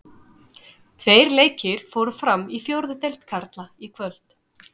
Tveir leikir fóru fram í fjórðu deild karla í kvöld.